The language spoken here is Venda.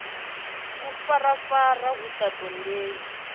ḽu farafara hu sa ṱoḓei